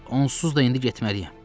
Onsuz da indi getməliyəm.